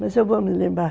Mas eu vou me lembrar.